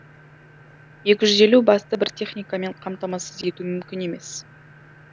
екі жүз елу басты бір техникамен қамтамасыз ету мүмкін емес